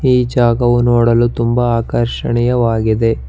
ಈ ಜಾಗವು ನೋಡಲು ತುಂಬಾ ಆಕರ್ಷಣ್ಣೆಯವಾಗಿದೆ.